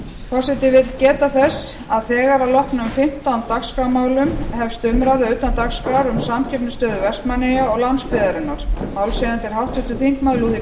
forseti vill geta þess að þegar að loknum fimmtán dagskrármálum hefst umræða utan dagskrár um samkeppnisstöðu vestmannaeyja og landsbyggðarinnar málshefjandi er háttvirtir þingmenn lúðvík